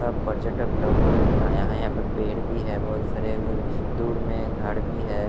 सब पर्यटक लोग घूमने आया है यहां पे पेड़ भी है बहुत सारे दूर में घड़ भी है।